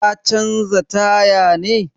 Ka canza taya ne?